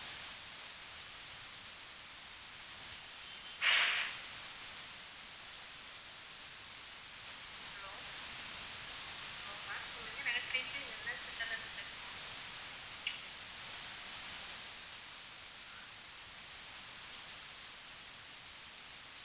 no ma'am